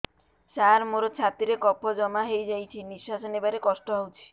ସାର ମୋର ଛାତି ରେ କଫ ଜମା ହେଇଯାଇଛି ନିଶ୍ୱାସ ନେବାରେ କଷ୍ଟ ହଉଛି